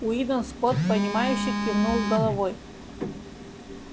уидон скотт понимающе кивнул головой